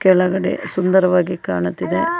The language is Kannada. ಕೆಳಗಡೆ ಸುಂದರವಾಗಿ ಕಾಣುತ್ತಿದೆ ಹಲೋ --